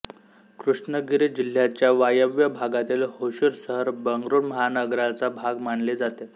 कृष्णगिरी जिल्ह्याच्या वायव्य भागातील होसूर शहर बंगळूर महानगराचा भाग मानले जाते